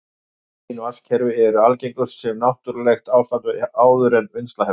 Hrein vatnskerfi eru algengust sem náttúrlegt ástand áður en vinnsla hefst.